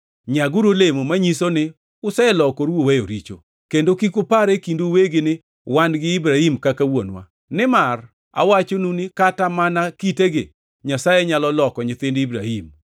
Nyaguru olemo manyiso ni uselokoru uweyo richo. Kendo kik upar e kindu uwegi ni, ‘Wan gi Ibrahim kaka wuonwa.’ Nimar awachonu ni kata mana kitegi Nyasaye nyalo loko nyithind Ibrahim.